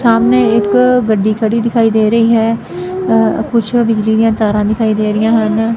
ਸਾਹਮਣੇ ਇੱਕ ਗੱਡੀ ਖੜੀ ਦਿਖਾਈ ਦੇ ਰਹੀ ਹੈ ਕੁਛ ਬਿਜਲੀ ਦੀਆਂ ਤਾਰਾਂ ਦਿਖਾਈ ਦੇ ਰਹੀਆਂ ਹਨ।